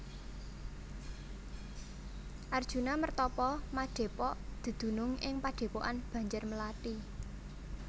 Arjuna mertapa madhepok dedunung ing padhepokan Banjarmelathi